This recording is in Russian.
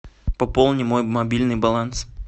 пополни мой мобильный баланс